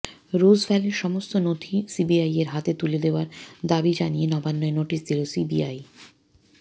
রোজভ্যালির সমস্ত নথি সিবিআইয়ের হাতে তুলে দেওয়ার দাবি জানিয়ে নবান্নয় নোটিস দিল সিবিআই